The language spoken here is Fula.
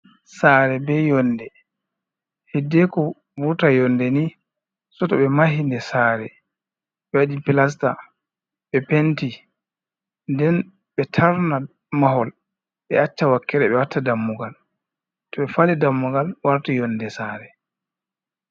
Saare be yonde, hedeko vurta yonde ni so to ɓe mahide saare, be waɗi plasta, ɓe penti, nden ɓe tarna mahol, ɓe acca wakkere ɓe watta dammugal, to ɓe fali dammugal warti yonde saare.